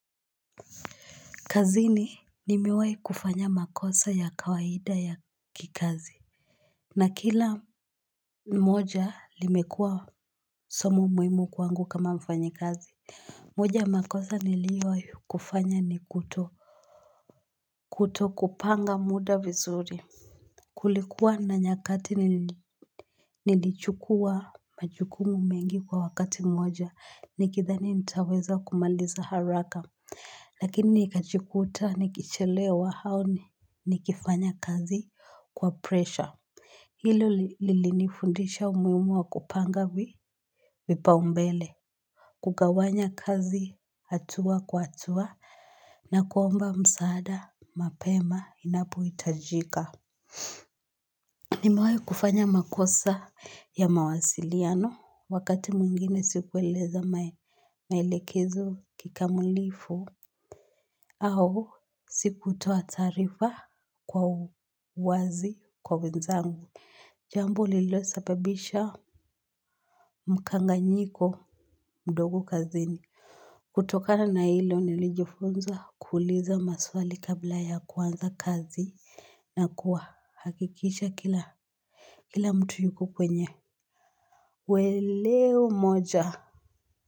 Kazini nimewai kufanya makosa ya kawaida ya kikazi. Na kila moja limekua somo muimu kwangu kama mfanyi kazi. Moja ya makosa niliwai kufanya ni kuto kuto kupanga muda vizuri. Kulikuwa na nyakati nilichukua majukumu mengi kwa wakati moja, nikithani nitaweza kumaliza haraka, lakini nikachikuta nikichelewa haoni nikifanya kazi kwa presha. Hilo lilini fundisha umuimu wa kupanga vipaumbele. Kugawanya kazi hatua kwa hatua, na kuomba msaada, mapema, inapo itajika. Nimewahi kufanya makosa ya mawasiliano wakati mwingine sikueleza maelekezo kikamilifu au sikutoa taarifa kwa uwazi kwa wenzangu. Jambo lililosababisha mkanganyiko mdogo kazini. Kutokana na hilo nilijifunza kuuliza maswali kabla ya kuanza kazi na kuhakikisha kila mtu yuko kwenye uelewa mmoja.